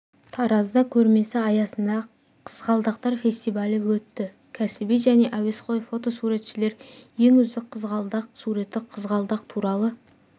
таразда көрмесі аясында қызғалдақтар фестивалі өтті кәсіби және әуесқой фотосуретшілер ең үздік қызғалдақ суреті қызғалдақ туралы